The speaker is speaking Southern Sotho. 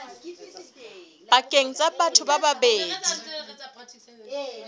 pakeng tsa batho ba babedi